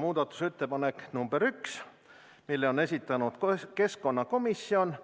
Muudatusettepaneku nr 1 on esitanud keskkonnakomisjon